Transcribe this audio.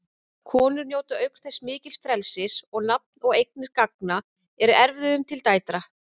Konur njóta auk þess mikils frelsis og nafn og eignir ganga að erfðum til dætra.